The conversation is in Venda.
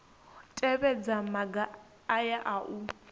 tevhedza maga aya a u